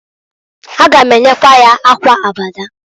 A ga m enyekwa ya akwa Abada.